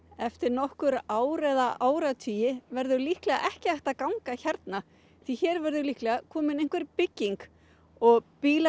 eftir nokkur ár eða áratugi verður líklega ekki hægt að ganga hérna því hér verður líklega komin einhver bygging og bílar